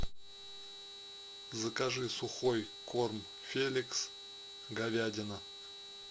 закажи сухой корм феликс говядина